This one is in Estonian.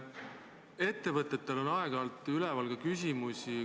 Ettevõtetel on aeg-ajalt üleval küsimusi.